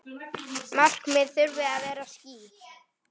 Markmið þurfi að vera skýr.